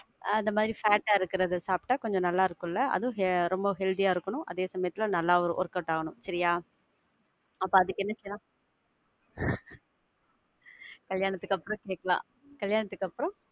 அந்த மாதிரி fat ஆ இருக்குறத சாப்ட்டா கொஞ்சம் நல்லா இருக்கும்ல, அதுவும் ரொம்ப healthy ஆ இருக்கணும், அதே சமயத்துல, நல்லா workout ஆகணும். சரியா? அப்ப அதுக்கு என்ன செய்யலாம்? கல்யாணத்துக்கு அப்புறம் கேக்கலாம். கலியாணத்துக்கு அப்புறம்~